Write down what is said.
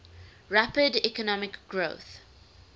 rapid economic growth